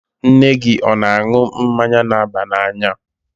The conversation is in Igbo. Nne gị ọ̀ na-aṅụ mmanya na-aba n'anya?